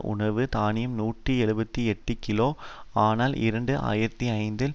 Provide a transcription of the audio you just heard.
உணவு தானியம் நூற்றி எழுபத்தி எட்டு கிலோ ஆனால் இரண்டு ஆயிரத்தி ஐந்தில்